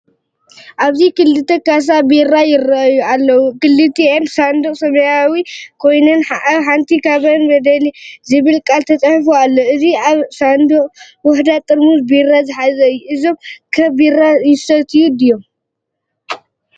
ኣብዚ ክልተ ካሳ ቢራ ይረኣዩ ኣለዉ። ክልቲአን ሳንዱቕ ሰማያዊ ኮይነን ኣብ ሓንቲ ካብአን “በደሌ” ዝብል ቃል ተጻሒፉ ኣሎ። እቲ ላዕለዋይ ሳንዱቕ ውሑዳት ጥርሙዝ ቢራ ዝሓዘ እዩ። እሶም ከ ቢራ ይሰትዩ ድዮም?